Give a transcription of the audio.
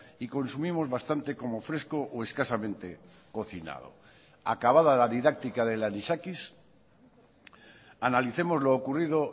y consumimos bastante como fresco o escasamente cocinado acabada la didáctica del anisakis analicemos lo ocurrido